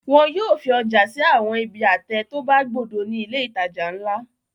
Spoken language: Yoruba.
Wọn yóò fi ọjà sí àwọn ibi àtẹ tó bá gbódò ní ilé-ìtajà ńlá.